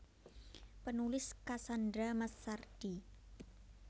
Penulis Cassandra Massardi